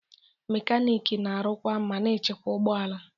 Mekaniki na-arụkwa ma na-echekwa ụgbọ ala